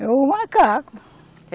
É o macaco.